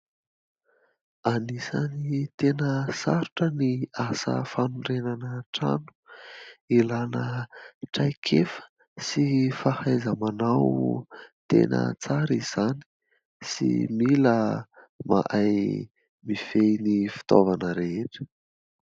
Anisan'ny tena sarotra ny asa fanorenana trano. Ilana traikefa sy fahaiza manao tena tsara izany, sy mila mahay mifehy ny fitaovana rehetra.